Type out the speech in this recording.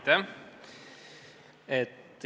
Aitäh!